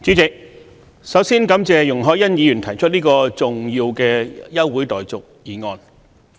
主席，首先感謝容海恩議員提出這項重要的休會待續議案。